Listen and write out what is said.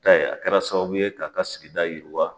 a kɛra sababu ye k'a ka sigida yiriwa.